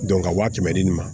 ka waa kɛmɛ di nin ma